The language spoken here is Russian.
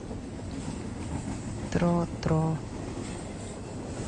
тро тро